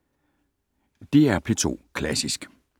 DR P2 Klassisk